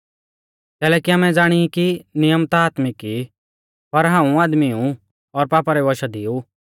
कैलैकि आमै ज़ाणी ई कि नियम ता आत्मिक ई पर हाऊं आदमी ऊ और पापा रै वशा दी ऊ